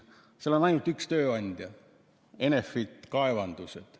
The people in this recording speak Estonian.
Seal on ainult üks tööandja, Enefit Kaevandused.